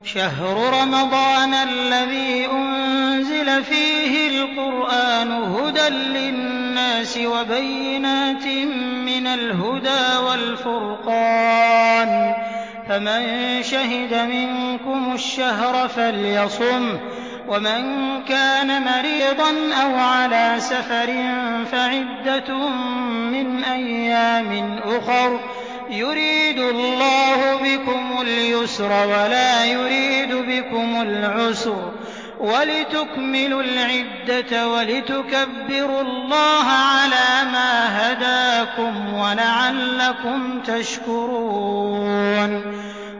شَهْرُ رَمَضَانَ الَّذِي أُنزِلَ فِيهِ الْقُرْآنُ هُدًى لِّلنَّاسِ وَبَيِّنَاتٍ مِّنَ الْهُدَىٰ وَالْفُرْقَانِ ۚ فَمَن شَهِدَ مِنكُمُ الشَّهْرَ فَلْيَصُمْهُ ۖ وَمَن كَانَ مَرِيضًا أَوْ عَلَىٰ سَفَرٍ فَعِدَّةٌ مِّنْ أَيَّامٍ أُخَرَ ۗ يُرِيدُ اللَّهُ بِكُمُ الْيُسْرَ وَلَا يُرِيدُ بِكُمُ الْعُسْرَ وَلِتُكْمِلُوا الْعِدَّةَ وَلِتُكَبِّرُوا اللَّهَ عَلَىٰ مَا هَدَاكُمْ وَلَعَلَّكُمْ تَشْكُرُونَ